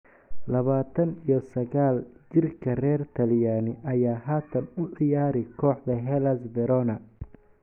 Labatan iyo sagal jirka reer Talyaani ayaa haatan u ciyaara kooxda Hellas Verona.